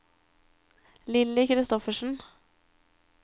Lilly Kristoffersen